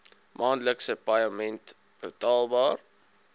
maandelikse paaiement betaalbaar